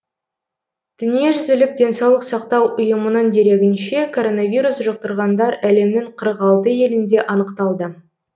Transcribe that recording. дүниежүзілік денсаулық сақтау ұйымының дерегінше коронавирус жұқтырғандар әлемнің қырық алты елінде анықталды